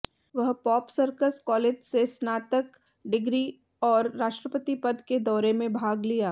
वह pop circus college से स्नातक डिग्री और राष्ट्रपति पद के दौरे में भाग लिया